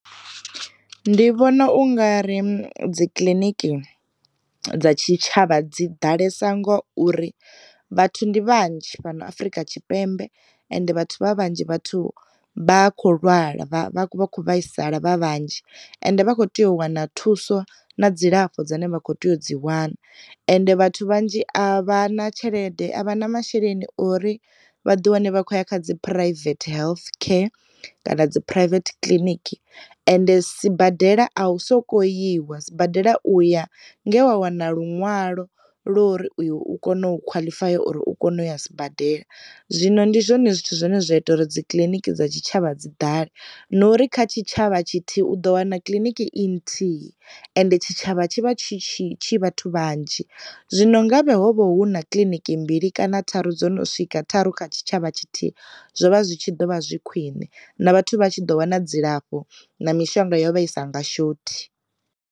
Ndi vhona ungari dzi kiliniki dza tshi tshavha dzi ḓalesa ngo uri vhathu ndi vhanzhi fhano Afrika Tshipembe ende vhathu vha vhanzhi vhathu vha kho lwala kho vhaisala vha vhanzhi ende vha kho tea u wana thuso na dzilafho dzine vha kho tea u dzi wana, ende vhathu vhanzhi a vha na tshelede a vha na masheleni uri vhaḓi wane vha khou ya kha dzi private health care kana dzi private clinic, ende sibadela a u soko iwa sibadela uya nge wa wana luṅwalo ḽo uri u kone u khwaḽifaya uri u kone u ya sibadela. Zwino ndi zwone zwithu zwine zwa ita uri dzi kiliniki dza tshi tshavha dzi ḓale. Nori kha tshi tshavha tshithihi u ḓo wana kiḽiniki i nthihi ande tshi tshavha tshi vha tshi tshi tshi vhathu vhanzhi, zwino nga vhe hovho huna kiḽiniki mbili kana tharu dzo no swika tharu kha tshi tshavha tshithihi, zwo vha zwi tshi ḓo vha zwi khwine na vhathu vha tshi ḓo wana dzilafho na mishonga yo vha isa nga shothi.